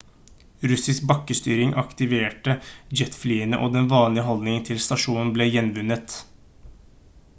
russisk bakkestyring aktiverte jetflyene og den vanlige holdningen til stasjonen ble gjenvunnet